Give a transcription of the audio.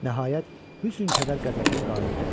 Nəhayət, hüsün kədər qəzəbinə qalib gəlir.